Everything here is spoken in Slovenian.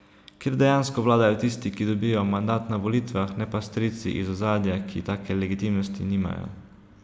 Kjer dejansko vladajo tisti, ki dobijo mandat na volitvah, ne pa strici iz ozadja, ki take legitimnosti nimajo.